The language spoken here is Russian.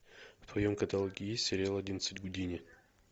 в твоем каталоге есть сериал одиннадцать гудини